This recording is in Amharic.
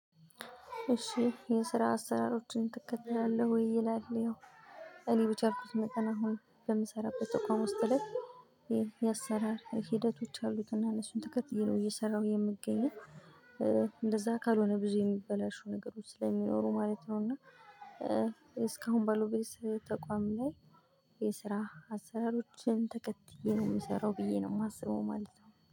እሺ የስራ አሰራሮችን ትከትላለህ ወይ ይላል? ያው እኔ በቻልኩት መጠን አሁን በምሰራበት ተቋም ውስጥ ላይ የአሰራር ሂደቶች አሉትና እሱን ትከት እየሰራው የምገኘው እንደዛ አካል ሆነ ብዙ የሚበላሽው ነገሮች ስለሚኖሩ ማለት ነው። እና። እስካሁን ባለው ቤት ተቋም ላይ የስራ አሰራሮችን ተከትዬ ነው የምሰራው ብዬ ነው የማስበው ማለት ነው